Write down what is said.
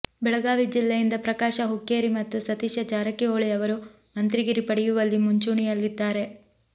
ಬೆಳಗಾವಿ ಜಿಲ್ಲೆಯಿಂದ ಪ್ರಕಾಶ ಹುಕ್ಕೇರಿ ಮತ್ತು ಸತೀಶ ಜಾರಕಿಹೊಳಿ ಅವರು ಮಂತ್ರಿಗಿರಿ ಪಡೆಯುವಲ್ಲಿ ಮುಂಚೂಣಿಯಲ್ಲಿದ್ದಾರೆ